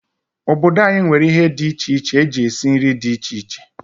Obodo anyi nwere ihe di iche eji esi nri di iche iche.